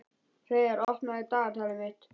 Hreiðar, opnaðu dagatalið mitt.